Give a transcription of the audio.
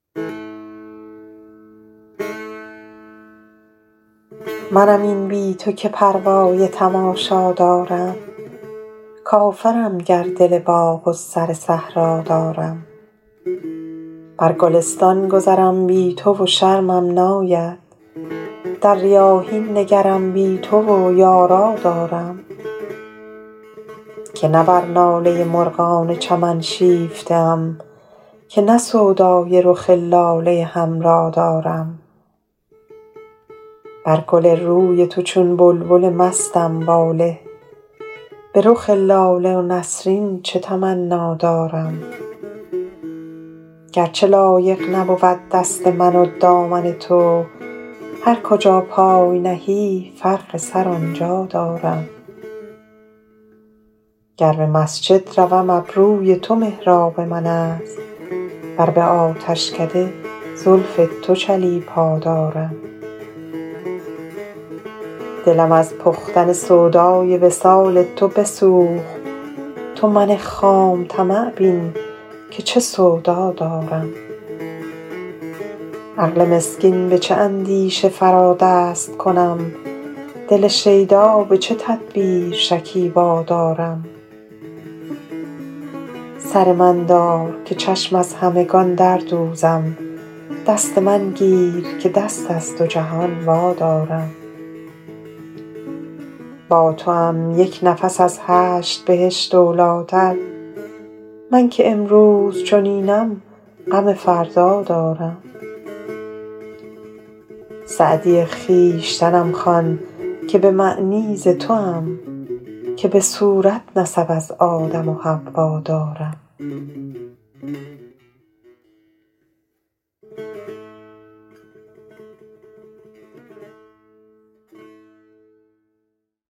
منم این بی تو که پروای تماشا دارم کافرم گر دل باغ و سر صحرا دارم بر گلستان گذرم بی تو و شرمم ناید در ریاحین نگرم بی تو و یارا دارم که نه بر ناله مرغان چمن شیفته ام که نه سودای رخ لاله حمرا دارم بر گل روی تو چون بلبل مستم واله به رخ لاله و نسرین چه تمنا دارم گر چه لایق نبود دست من و دامن تو هر کجا پای نهی فرق سر آن جا دارم گر به مسجد روم ابروی تو محراب من است ور به آتشکده زلف تو چلیپا دارم دلم از پختن سودای وصال تو بسوخت تو من خام طمع بین که چه سودا دارم عقل مسکین به چه اندیشه فرا دست کنم دل شیدا به چه تدبیر شکیبا دارم سر من دار که چشم از همگان در دوزم دست من گیر که دست از دو جهان وادارم با توام یک نفس از هشت بهشت اولی تر من که امروز چنینم غم فردا دارم سعدی خویشتنم خوان که به معنی ز توام که به صورت نسب از آدم و حوا دارم